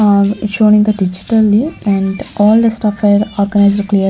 am is shown in the digitally and all the stuff are organized --